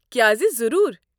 کیازِ، ضروٗر۔